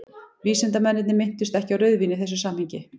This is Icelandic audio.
vísindamennirnir minntust ekki á rauðvín í þessu samhengi